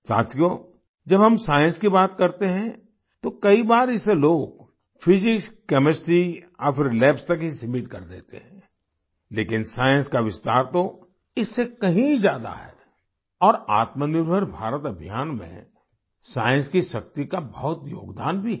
साथियो जब हम साइंस की बात करते हैं तो कई बार इसे लोग फिजिक्सकेमिस्ट्री या फिर लैब्स तक ही सीमित कर देते हैं लेकिन साइंस का विस्तार तो इससे कहीं ज्यादा है और आत्मनिर्भर भारत अभियान में साइंस की शक्ति का बहुत योगदान भी है